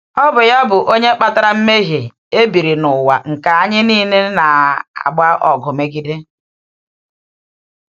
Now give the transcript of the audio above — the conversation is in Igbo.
Ọ bụ ya bụ onye kpatara mmehie e biri n’ụwa nke anyị niile na-agba ọgụ megide.